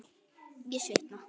Ég svitna.